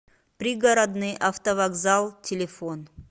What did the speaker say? пригородный автовокзал телефон